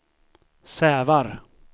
Sävar